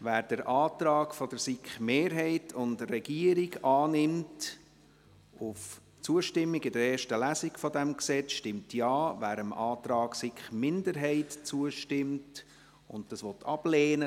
Wer den Antrag von SiK-Mehrheit und Regierung auf Zustimmung zu diesem Gesetz in erster Lesung annimmt, stimmt Ja, wer dem Antrag der SiK-Minderheit zustimmt und das Gesetz ablehnt, stimmt Nein.